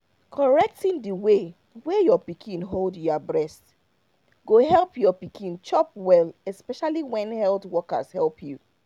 correcting the way wey your pikin hold your breast go help your pikin chop well especially when health workers help you.